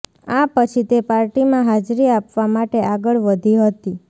આ પછી તે પાર્ટીમાં હાજરી આપવા માટે આગળ વધી હતી